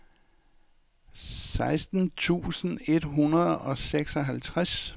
seksten tusind et hundrede og seksoghalvtreds